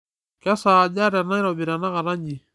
kesaaja tenairobi tenakata nji